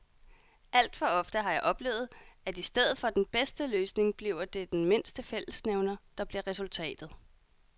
Alt for ofte har jeg oplevet, at i stedet for den bedste løsning bliver det den mindste fællesnævner, der bliver resultatet.